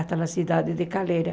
Até a cidade de Calera.